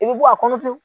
I bɛ bɔ a kɔnɔ